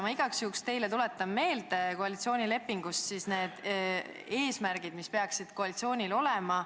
Ma igaks juhuks tuletan teile meelde koalitsioonilepingus olevad eesmärgid, mis peaksid koalitsioonil olema.